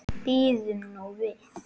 Bíðum nú við.